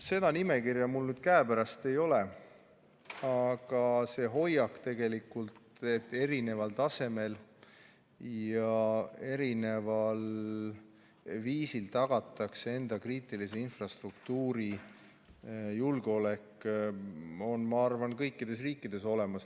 Seda nimekirja mul nüüd käepärast ei ole, aga see hoiak tegelikult, et erineval tasemel ja erineval viisil tagatakse enda kriitilise infrastruktuuri julgeolek, on, ma arvan, kõikides riikides olemas.